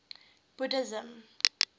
buddhism